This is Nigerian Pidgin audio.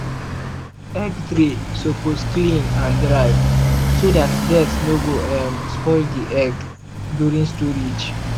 egg tray suppose clean and dry so that dirt no go um spoil the egg during storage.